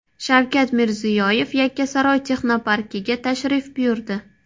Shavkat Mirziyoyev Yakkasaroy texnoparkiga tashrif buyurdi.